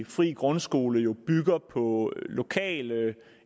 frie grundskoler må